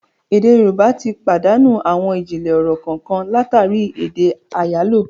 Èdè Yorùbá tí pàdánù àwọn ijinlẹ ọ̀rọ̀ kànkan látàri èdè àyálò